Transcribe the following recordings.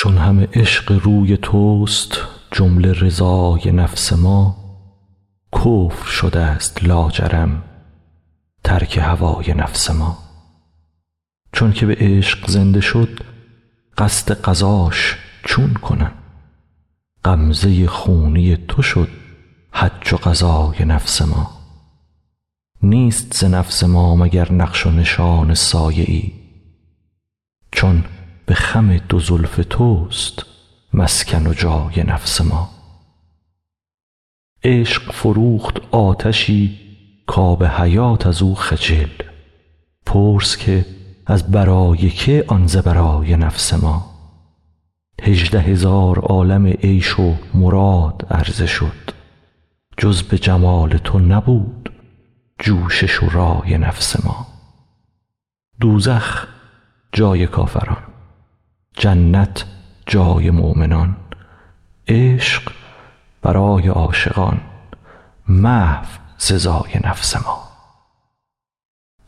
چون همه عشق روی تست جمله رضای نفس ما کفر شده ست لاجرم ترک هوای نفس ما چونکه به عشق زنده شد قصد غزاش چون کنم غمزه خونی تو شد حج و غزای نفس ما نیست ز نفس ما مگر نقش و نشان سایه ای چون به خم دو زلف تست مسکن و جای نفس ما عشق فروخت آتشی کآب حیات از او خجل پرس که از برای که آن ز برای نفس ما هژده هزار عالم عیش و مراد عرضه شد جز به جمال تو نبود جوشش و رای نفس ما دوزخ جای کافران جنت جای مؤمنان عشق برای عاشقان محو سزای نفس ما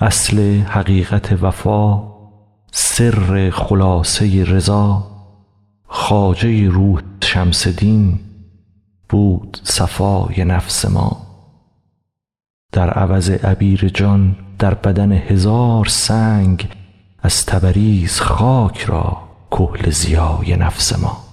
اصل حقیقت وفا سر خلاصه رضا خواجه روح شمس دین بود صفای نفس ما در عوض عبیر جان در بدن هزار سنگ از تبریز خاک را کحل ضیای نفس ما